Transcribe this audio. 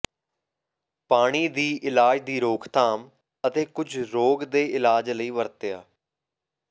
ਪਾਣੀ ਦੀ ਇਲਾਜ ਦੀ ਰੋਕਥਾਮ ਅਤੇ ਕੁਝ ਰੋਗ ਦੇ ਇਲਾਜ ਲਈ ਵਰਤਿਆ